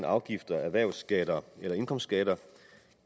afgifter erhvervsskatter eller indkomstskatter